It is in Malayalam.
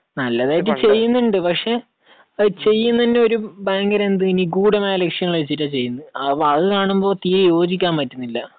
നല്ലതായിട്ട് ചെയ്യുന്നുണ്ട്. പക്ഷേ ചെയ്യുന്നത് തന്നെ എന്ത്, ഒരു ഭയങ്കരമായ നിഗൂഢ ലക്ഷ്യങ്ങൾ വച്ചിട്ടാണ് ചെയ്യുന്നത്. അത് കാണുമ്പോൾ തീരെ യോജിക്കാൻ പറ്റുന്നില്ല.